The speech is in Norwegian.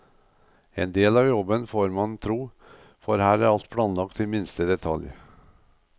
En del av jobben, får man tro, for her er alt planlagt til minste detalj.